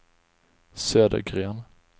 Södergren